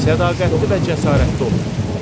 Sədaqətli və cəsarətli olun.